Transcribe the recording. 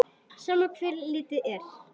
Sama hvert litið er.